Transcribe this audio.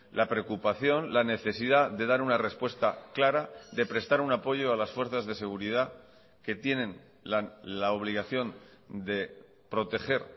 la preocupación la necesidad de dar una respuesta clara de prestar un apoyo a las fuerzas de seguridad que tienen la obligación de proteger